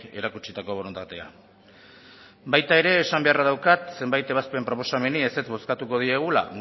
erakutsitako borondatea baita ere esan beharra daukat zenbait ebazpen proposameni ezetz bozkatuko diegula